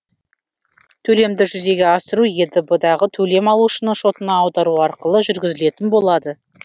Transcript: төлемді жүзеге асыру едб дағы төлем алушының шотына аудару арқылы жүргізілетін болады